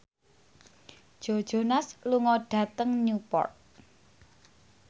Joe Jonas lunga dhateng Newport